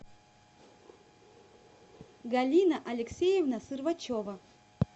галина алексеевна сырвачева